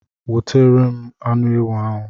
Wotere m anu ewu ahu